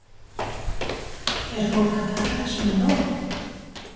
Er fólk að taka þessu með ró?